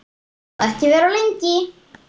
Og ekki vera of lengi.